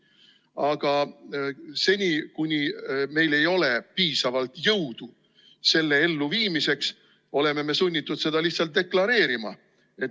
Aga seni, kuni meil ei ole piisavalt jõudu selle plaani elluviimiseks, oleme me sunnitud seda lihtsalt deklareerima.